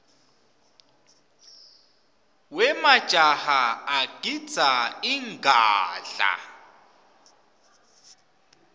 wemajaha agidza ingadla